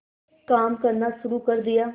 काम करना शुरू कर दिया